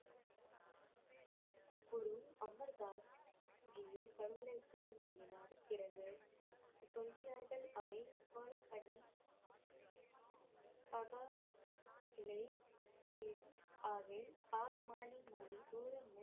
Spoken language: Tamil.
குரு அமர் தாஸ் ஜீயை கடவுளை போல் நம்பினார் பிறகு சொல்கிறார்கள் அவை